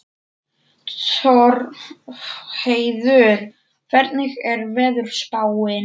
Torfheiður, hvernig er veðurspáin?